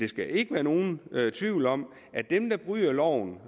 skal ikke være nogen tvivl om at dem der bryder loven